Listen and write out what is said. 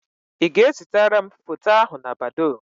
Ị ga-ẹzitara m foto ahụ na Badoo?